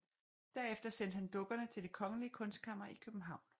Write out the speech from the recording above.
Derefter sendte han dukkerne til Det kongelige Kunstkammer i København